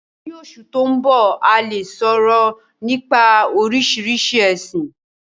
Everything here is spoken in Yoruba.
Ní Osù to n bọ, a le soro nipa Oríṣiríṣi ẹ̀sin.